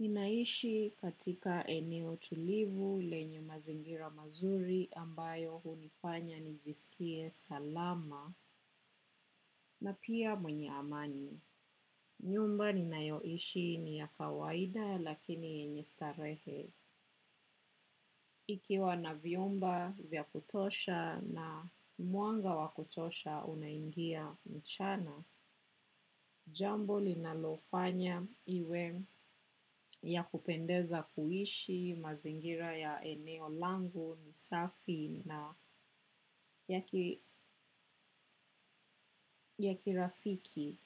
Ninaishi katika eneo tulivu lenye mazingira mazuri ambayo hunifanya nijisikie salama na pia mwenye amani. Nyumba ninayoishi ni ya kawaida lakini yenye starehe. Ikiwa na vyumba vya kutosha na mwanga wakutosha unaingia mchana, jambo linalofanya iwe ya kupendeza kuishi mazingira ya eneo langu, misafi na yaki rafiki.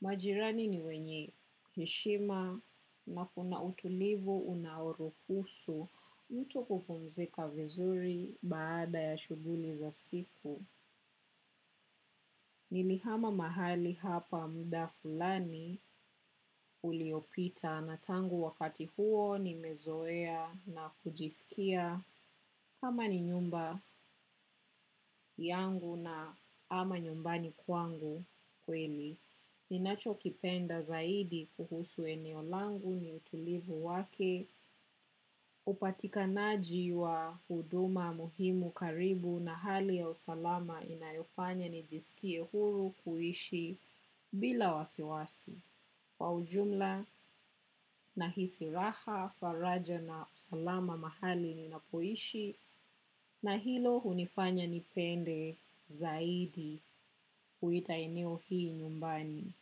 Majirani ni wenye heshima na kuna utulivu unaoruhusu mtu kupumzika vizuri baada ya shuguli za siku. Nilihama mahali hapa muda fulani uliopita na tangu wakati huo nimezoea na kujisikia kama ni nyumba yangu na ama nyumbani kwangu kweli. Ninacho kipenda zaidi kuhusu eneo langu ni utulivu wake, upatikanaji wa uduma muhimu karibu na hali ya usalama inayofanya nijisikie huru kuhishi bila wasiwasi. Kwa ujumla na hisiraha, faraja na usalama mahali ninapoishi na hilo unifanya nipende zaidi kuita eneo hii nyumbani.